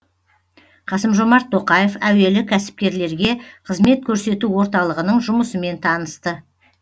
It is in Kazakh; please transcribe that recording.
қасым жомарт тоқаев әуелі кәсіпкерлерге қызмет көрсету орталығының жұмысымен танысты